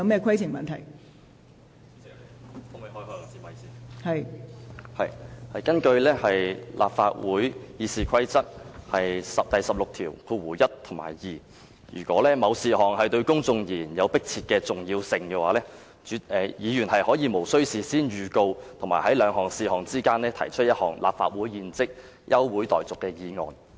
根據立法會《議事規則》第161及2條，如果某事項對公眾而言有迫切重要性，議員可以無須事先預告，在兩事項之間提出一項立法會現即休會待續的議案。